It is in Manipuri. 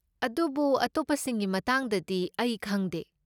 ꯑꯗꯨꯕꯨ, ꯑꯇꯣꯞꯄꯁꯤꯡꯒꯤ ꯃꯇꯥꯡꯗꯗꯤ ꯑꯩ ꯈꯪꯗꯦ꯫